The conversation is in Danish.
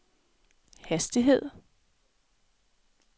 hastighed